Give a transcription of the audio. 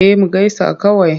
Eh mu gaisa kawai.